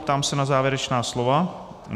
Ptám se na závěrečná slova.